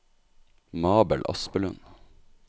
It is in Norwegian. Mabel Aspelund